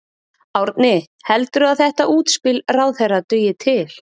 Árni, heldurðu að þetta útspil ráðherra dugi til?